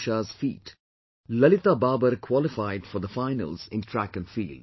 Usha's feat, Lalita babar qualified for the finals in track and field